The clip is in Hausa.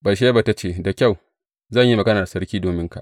Batsheba ta ce, Da kyau, zan yi magana da sarki dominka.